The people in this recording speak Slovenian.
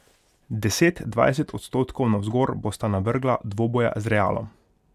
Deset, dvajset odstotkov navzgor bosta navrgla dvoboja z Realom.